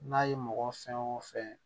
N'a ye mɔgɔ fɛn o fɛn